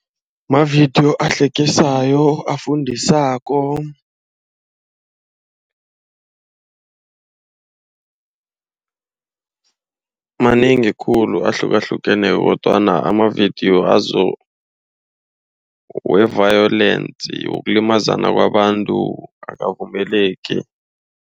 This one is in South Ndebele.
Mavidiyo ahlekisako afundisako Manengikhulu ahlukahlukeneko kodwana amavidiyo azo we-violence wokulimazana kwabantu akabukeleki.